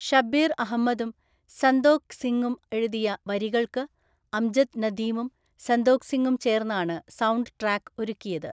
ഷബ്ബീർ അഹമ്മദും സന്തോഖ് സിംഗും എഴുതിയ വരികൾക്ക് അംജദ് നദീമും സന്തോഖ് സിംഗും ചേർന്നാണ് സൗണ്ട് ട്രാക്ക് ഒരുക്കിയത്.